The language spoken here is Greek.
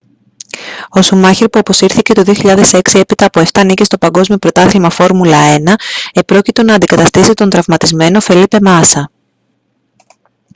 ο σουμάχερ που αποσύρθηκε το 2006 έπειτα από 7 νίκες στο παγκόσμιο πρωτάθλημα φόρμουλα 1 επρόκειτο να αντικαταστήσει τον τραυματισμένο φελίπε μάσα